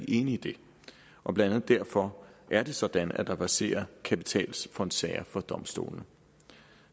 i det og blandt andet derfor er det sådan at der verserer kapitalfondsager ved domstolene